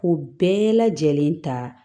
Ko bɛɛ lajɛlen ta